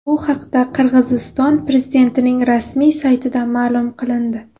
Bu haqda Qirg‘iziston prezidentining rasmiy saytida ma’lum qilindi .